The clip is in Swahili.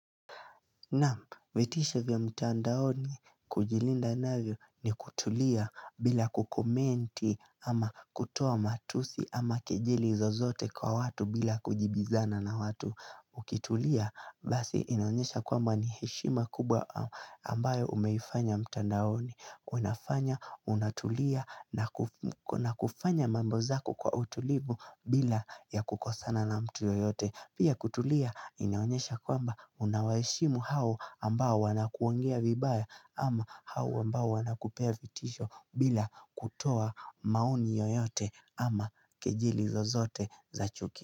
Nam vetisha vya mtandaoni kujilinda navyo ni kutulia bila kukomenti ama kutoa matusi ama kejeli zozote kwa watu bila kujibizana na watu ukitulia basi inaonyesha kwamba ni heshima kubwa ambayo umeifanya mtandaoni. Unafanya, unatulia na kufanya mambozaku kwa utulivu bila ya kukosana na mtu yoyote Pia kutulia inaonyesha kwamba unawaheshimu hao ambao wanakuongea vibaya ama hao ambao wanakupea vitisho bila kutoa maoni yoyote ama kejeli zozote za chuki.